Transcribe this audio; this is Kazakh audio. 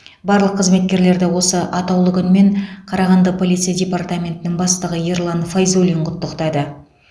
барлық қызметкерлерді осы атаулы күнмен қарағанды полиция департаментінің бастығы ерлан файзуллин құттықтады